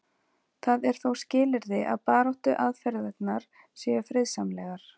Það er þó skilyrði að baráttuaðferðirnar séu friðsamlegar.